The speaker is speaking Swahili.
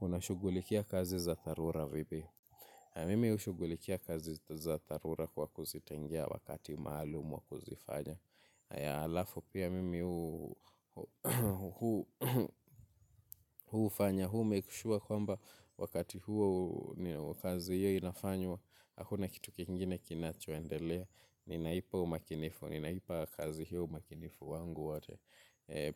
Unashugulikia kazi za dharura vipi. Mimi hushugulikia kazi za dharura kwa kuzitengea wakati maalum wa kuzifanya. Haya alafu pia mimi hufanya hu make sure kwamba wakati huo kazi hiyo inafanywa. Hakuna kitu kingine kinachoendelea. Ninaipa umakinifu. Ninaipa kazi hiyo umakinifu wangu wote.